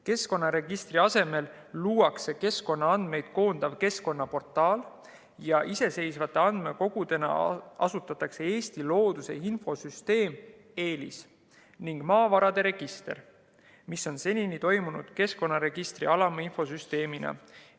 Keskkonnaregistri asemel luuakse keskkonnaandmeid koondav keskkonnaportaal ja iseseisvate andmekogudena asutatakse Eesti looduse infosüsteem EELIS ning maavarade register, mis on senini toiminud keskkonnaregistri alaminfosüsteemina.